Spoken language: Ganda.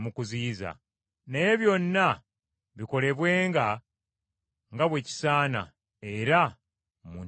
Naye byonna bikolebwenga nga bwe kisaana era mu ntegeka entuufu.